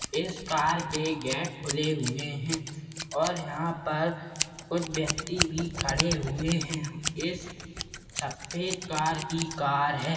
इस कार के गेट खुले हुए है और यहा पर कुच्छ व्यक्ति भी खड़े हुए है इस सफ़ेद कार की कार है।